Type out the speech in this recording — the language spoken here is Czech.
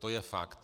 To je fakt.